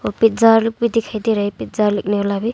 Pizza लोग भी दिखाई दे रहा है पिज़्ज़ा लगने वाला भी।